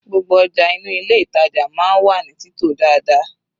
Gbogbo ọjà inú ilé ìtàjà máa ń wà ní títò dáadáa.